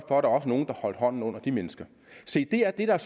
nogle der holder hånden under de mennesker se det er det der